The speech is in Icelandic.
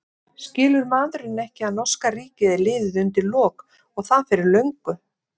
Skilur maðurinn ekki að norska ríkið er liðið undir lok og það fyrir löngu?